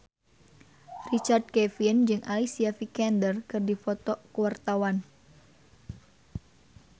Richard Kevin jeung Alicia Vikander keur dipoto ku wartawan